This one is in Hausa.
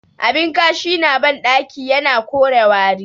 Abin kashi na bandaki yana kore wari